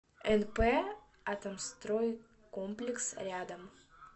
нп атомстройкомплекс рядом